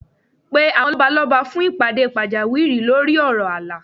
Pe àwọn lọ́balọ́ba fún ìpàdé pàjáwìrì lórí ọ̀rọ̀ ààlà